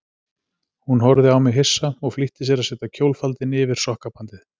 Hún horfði á mig hissa og flýtti sér að setja kjólfaldinn yfir sokkabandið.